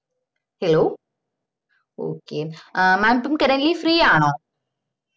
hello okay ah mam ഇപ്പൊ currently free ആണോ